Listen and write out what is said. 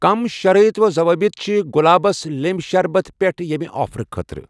کٔمۍ شرائط و ضوابط چھِ گُلابس لیٚنٛبۍ شربت پٮ۪ٹھ ییٚمہِ آفر خٲطرٕ؟